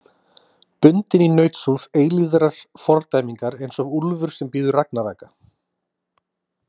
Bundinn í nautshúð eilífrar fordæmingar eins og úlfur sem bíður ragnaraka.